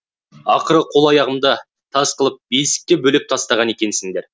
ақыры қол аяғымды тас қылып бесікке бөлеп тастаған екенсіңдер